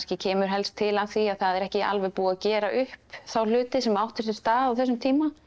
kemur helst til af því að það er ekki alveg búið að gera upp þá hluti sem áttu sér stað á þessum tíma